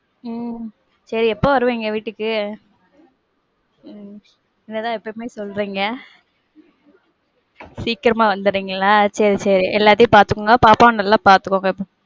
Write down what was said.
உம் சரி, எப்போ வருவீங்க வீட்டுக்கு? உம் இத தான் எப்பவுமே சொல்றிங்க. சீக்கிரமா வந்திரின்களா? செரி செரி. எல்லாத்தையும் பாத்த்க்குங்க. பாப்பாவையும் நல்ல பாத்துக்கோங்க.